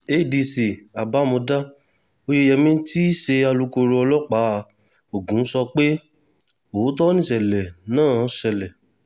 adc abimodá oyeyèmí tí í ṣe alūkkoro ọlọ́pàá ogun sọ pé òótọ́ nìṣẹ̀lẹ̀ náà ṣẹlẹ̀